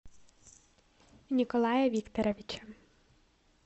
николая викторовича